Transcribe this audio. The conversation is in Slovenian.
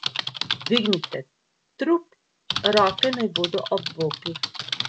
Dvignite trup, roke naj bodo ob bokih.